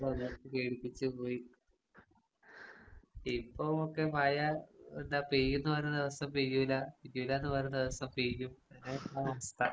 അതെ പേടിപ്പിച്ച് പോയി. ഇപ്പൊ ഒക്കെ മഴ എന്താ പെയ്യൂന്ന് പറയണ ദിവസം പെയ്യൂല്ല പെയ്യൂല്ലാന്ന് പറയുന്ന ദിവസം പെയ്യും അതാണ് അവസ്ഥ.